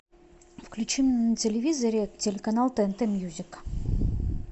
включи мне на телевизоре телеканал тнт мьюзик